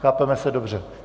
Chápeme se dobře.